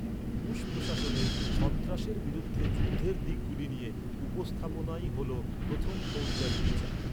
Bush প্রশাসনের "সন্ত্রাসের বিরুদ্ধে যুদ্ধের" দিকগুলি নিয়ে "উপস্থাপনা"ই হল প্রথম ফৌজদারি বিচার।